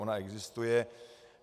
Ona existuje.